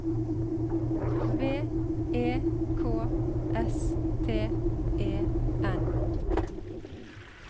V E K S T E N